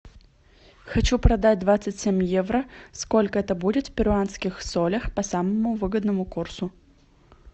хочу продать двадцать семь евро сколько это будет в перуанских солях по самому выгодному курсу